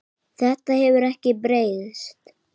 Þetta hefur ekkert breyst.